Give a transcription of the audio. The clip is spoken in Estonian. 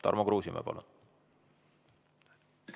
Tarmo Kruusimäe, palun!